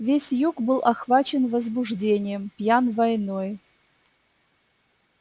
весь юг был охвачен возбуждением пьян войной